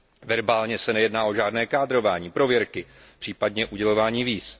Verbálně se nejedná o žádné kádrování, prověrky, případně udělování víz.